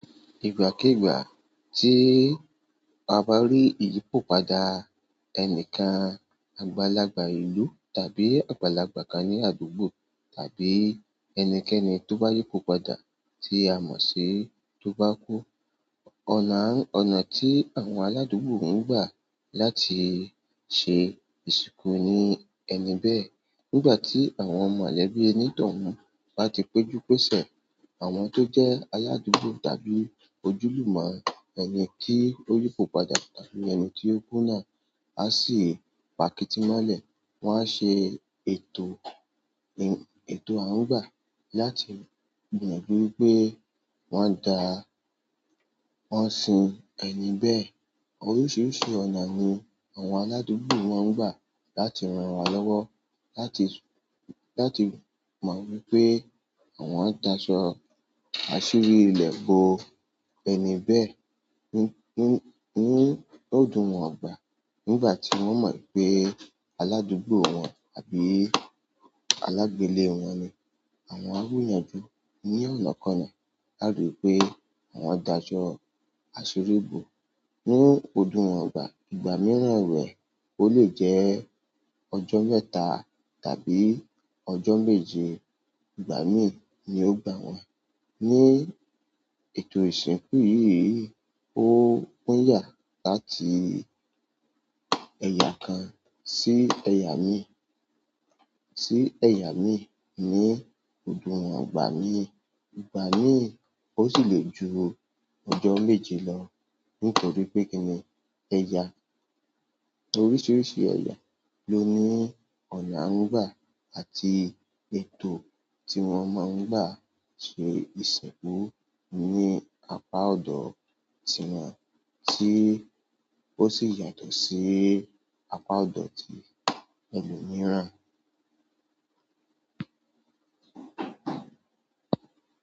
Ìgbàkígbà tí a bá rí ìyípo padà ẹnìkan, àgbàlagbà ìlú tàbí àgbàlagbà kan ní àdúgbò tàbí ẹnikẹ́ni tó bá yípo padà tí a mọ̀ sí tó bá kú. Ọ̀nà ti àwọn aladugbo n gba láti se insinku ẹni be. Nígbà tí àwọn mọ̀lẹ́bí ẹni toun bá ti péjú pésẹ̀, àwọn tó jẹ́ aládúgbò tàbí ojúlùmo ẹni kí ó yípo padà tàbí ẹni tí ó kú náà, a sì pa kítí mọ́lẹ̀, wọ́n á ṣe ètò, ètò à ń gbà láti gbìn gbíyanju, wọ́n dá, wọ́n sin ẹni bẹ́ẹ̀. Oríṣiríṣi ọ̀nà ni àwọn aládùúgbò máa ń gbà láti ranra lọ́wọ́, láti, láti mọ̀ wípé àwọn dáa sọ àsírí ilẹ̀ bo ẹni bẹ́ẹ̀. Ní, ní, ọdo àwọn agbà. Nígbà tí wọ́n mọ̀ pé aládùúgbò wọn àbí alágbèle wọn ni, àwọn á gbìyànjú ní ọ̀nà kan náà láti ripé àwọn dá asọ àsírí bo ní ọdi wọn ìgbà. Ìgbà mìíràn ewe, ó lè jẹ́ ọjọ́ mẹ́ta tàbí ọjọ́ méje. Ìgbà mii yio gba wa ní ètò ìsìnkú yìí, ó ń yà láti ẹ̀yà kan sí ẹ̀yà míì, sí ẹ̀yà míì ní ọdú wọn ìgbà míì. Ìgbà míì ó sì lè ju ọjọ́ méje lọ nítorí pé kíni ẹ̀yà, oríṣiríṣi ẹ̀yà ló ní ọ̀nà à ń gbà àti ètò tí wọ́n máa ń gbà ṣe ìsìnkú ní apá ọ̀dọ̀ ti won tí ó sì yàtọ̀ sí apá ọ̀dọ̀ ti ẹlòmíràn.